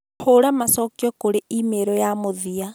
hũra macokio kũrĩ e-mail ya mũthia